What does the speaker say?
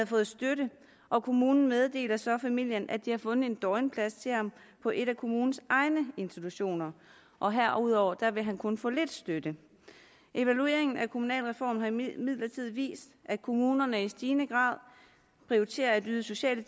fået støtte kommunen meddelte så familien at de har fundet døgnplads til ham på en af kommunens egne institutioner og herudover vil han kun få lidt støtte evalueringen af kommunalreformen har imidlertid vist at kommunerne i stigende grad prioriterer at yde sociale